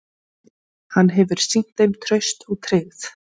Hann hefur sýnt þeim traust og tryggð.